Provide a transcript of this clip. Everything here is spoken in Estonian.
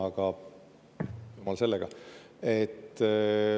Aga jumal sellega.